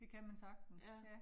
Det kan man sagtens